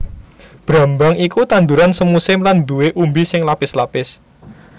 Brambang iku tanduran semusim lan nduwè umbi sing lapis lapis